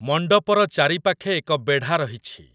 ମଣ୍ଡପର ଚାରିପାଖେ ଏକ ବେଢ଼ା ରହିଛି।